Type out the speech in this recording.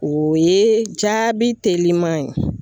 O ye jaabi teliman ye